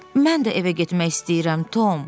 Mən də evə getmək istəyirəm, Tom.